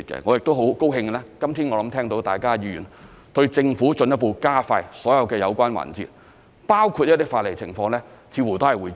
我亦很高興，今天聽到議員對政府進一步加快所有有關環節，包括一些法例情況，似乎也會支持。